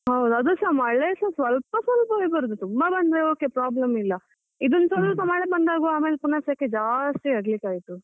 ಹೌದು ಅದುಸಾ ಮಳೇಸ ಸ್ವಲ್ಪ ಸ್ವಲ್ಪವೇ ಬರುದು, ತುಂಬ ಬಂದ್ರೆ okay problem ಇಲ್ಲ. ಇದೊಂದು ಸ್ವಲ್ಪ ಮಳೆ ಬಂದಾಗುವಾಗ ಮತ್ತೆ ಪುನ ಸೆಕೆ ಜಾಸ್ತಿ ಆಗ್ಲಿಕ್ಕೆ ಆಯ್ತು.